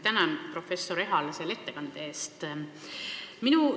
Tänan, professor Ehala, selle ettekande eest!